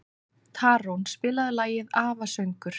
Tarón, spilaðu lagið „Afasöngur“.